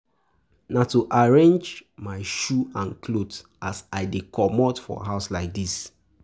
Na to arrange my shoe and clothe as I dey comot for house like dis.